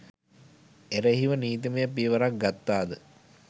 එරෙහිව නීතිමය පියවරක් ගත්තාද?